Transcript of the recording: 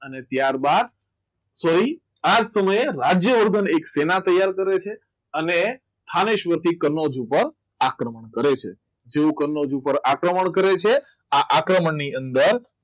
અને ત્યારબાદ કોઈ આ સમયે રાજ્યવર્ધન એક સેના તૈયાર કરે છે અને સ્થાને સ્વરથી કનોજ ઉપર આક્રમણ કરે છે તેવું કનોજ ઉપર આક્રમણ કરે છે આ આક્રમણ ની અંદર